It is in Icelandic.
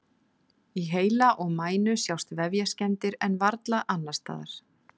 Í heila og mænu sjást vefjaskemmdir en varla annars staðar.